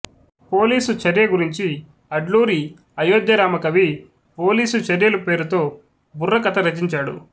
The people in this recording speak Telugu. పోలీసు చర్య గురించి అడ్లూరి అయోధ్యరామకవి పోలీసు చర్యలు పేరుతో బుర్రకథ రచించాడు